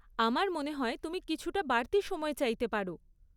আমার মনে হয় তুমি কিছুটা বাড়তি সময় চাইতে পার।